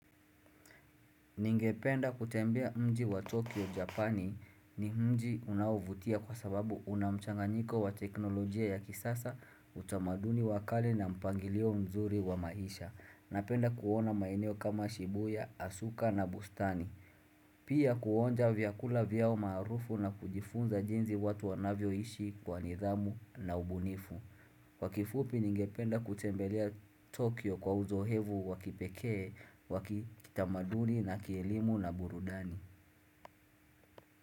Ningependa kutembea mji wa Tokyo Japani ni mji unaovutia kwa sababu una mchanganyiko wa teknolojia ya kisasa utamaduni wa kale na mpangilio mzuri wa maisha. Napenda kuona maeneo kama Shibuya, Asuka na bustani. Pia kuonja vyakula vyao maarufu na kujifunza jinsi watu wanavyoishi kwa nidhamu na ubunifu. Kwa kifupi ningependa kutembelea Tokyo kwa uzoefu wa kipekee wa kitamaduni na kielimu na burudani.